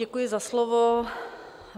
Děkuji za slovo.